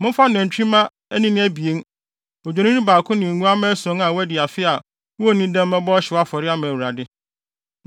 Momfa nantwimma anini abien, Odwennini baako ne nguantenmma ason a wɔadi afe a wonnii dɛm mmɛbɔ ɔhyew afɔre ama Awurade.